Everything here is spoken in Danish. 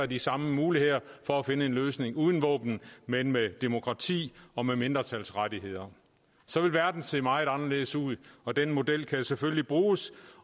de samme muligheder for at finde en løsning uden våben men med demokrati og med mindretalsrettigheder så ville verden se meget anderledes ud og den model kan selvfølgelig bruges